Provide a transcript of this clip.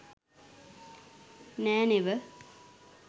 නෑ නෙව.